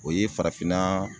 O ye farafinnaa